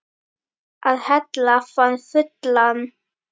Að hella hann fullan.